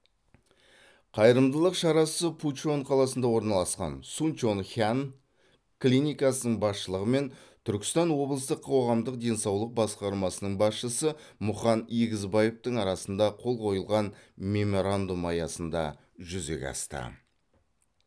қайырымдылық шарасы пучон қаласында орналасқан сунчонхян клиникасының басшылығы мен түркістан облыстық қоғамдық денсаулық басқармасының басшысы мұқан егізбаевтың арасында қол қойылған меморандум аясында жүзеге асты